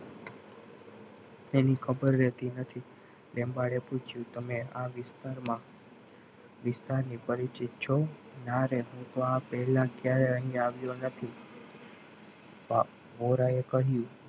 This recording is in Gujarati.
તેની ખબર રહેતી નથી લંબાડે પૂછ્યું તમે આ વિસ્તારમાં વિસ્તારથી પરિચિત છો ના રેત હું તો પહેલા ક્યારે આ અહીંયા આવ્યો નથી. એ કહ્યું.